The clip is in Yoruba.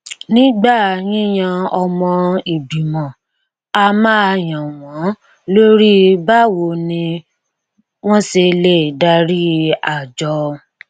nígbà yíyan ọmọ ìgbìmọ a máa yàn wọn lórí báwo ni wọn ṣe lè darí àjọ